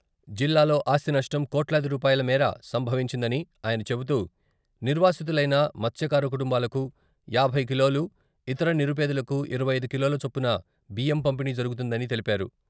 జిల్లాలో ఆస్తి నష్టం కోట్లాదిరూపాయల మేర సంభవించిందని ఆయన చెబుతూ, నిర్వాసితులైన మత్స్యకార కుటుంబాలకు యాభై కిలోలు, ఇతర నిరుపేదలకు ఇరవై ఐదు కిలోల చొప్పున బియ్యం పంపిణీ జరుగుతుందని తెలిపారు.